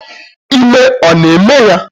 Ime ọ na-eme ya?